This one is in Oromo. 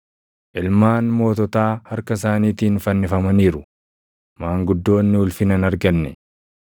Ilmaan moototaa harka isaaniitiin fannifamaniiru; maanguddoonni ulfina hin arganne.